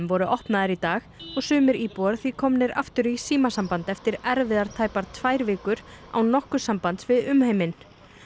voru opnaðar í dag og sumir íbúar því komnir aftur í símasamband eftir erfiðar tæpar tvær vikur án nokkurs sambands við umheiminn